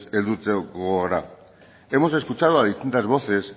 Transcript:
helduko gara hemos escuchado a distintas voces